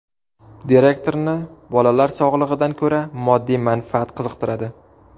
Direktorni bolalar sog‘lig‘idan ko‘ra moddiy manfaat qiziqtiradi.